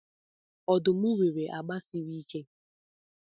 Ọdụm nwere agba siri ike.